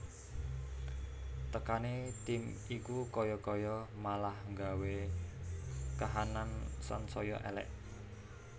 Tekane tim iku kaya kaya malah nggawe kahanan sansaya elek